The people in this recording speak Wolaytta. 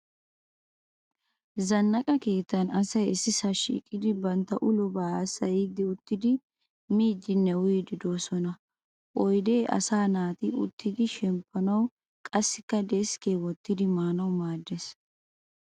Zannaqa keettan asay issisaa shiiqidi bantta ulobaa haasayiiddi uttidi miiddinne uyiiddi doosona. Oyidee asaa naati uttidi shemppanawu qassikka deskke wottidi maanawu maaddes.